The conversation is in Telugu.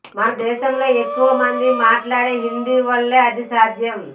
మన దేశంలో ఎక్కువ మంది మాట్లాడే హిందీ వల్లే అది సాధ్యం